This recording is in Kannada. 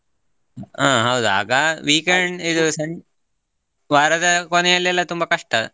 ಆ ಹೌದು ಆಗ ವಾರದ ಕೊನೆಯಲ್ಲಿ ಎಲ್ಲ ತುಂಬ ಕಷ್ಟ.